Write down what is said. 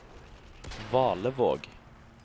Valevåg